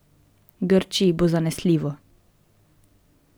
Grčiji bo zanesljivo.